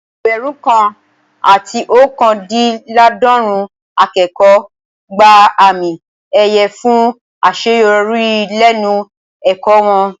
Ẹgbẹ̀rún kan àti ookandinlaadorun akẹ́kọ̀ọ́ gba àmì ẹ̀yẹ fún àṣeyọrí lẹ́nu ẹ̀kọ́ wọn